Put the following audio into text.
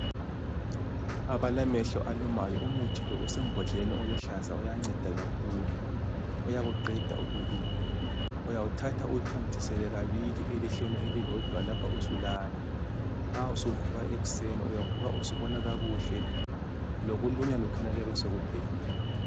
Abalamehlo alumayo ,umuthi lo usembodleleni eluhlaza, uyanceda kakhulu uyakuqeda ukuluma, uyawuthatha uwuthontisele kabili elihlweni elilodwa lapho usulala, nxa usuvuka ekuseni ,uyavuka usubona kakuhle, lokulunywa lokhuyana kuyabe sokuphelile